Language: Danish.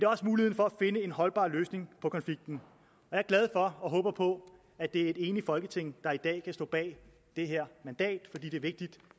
også muligheden for at finde en holdbar løsning på konflikten jeg er glad for og håber på at det er et enigt folketing der i dag kan stå bag det her mandat fordi det er vigtigt